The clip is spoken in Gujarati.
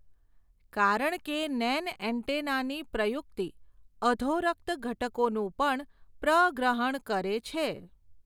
કારણકે નેન્એન્ટેનાની પ્રયુક્તિ, અધોરક્ત ઘટકોનું પણ પ્રગ્રહણ કરે છે.